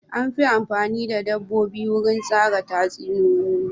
An fi amfani da dabbobi wurin tsara tatsuniyoyi.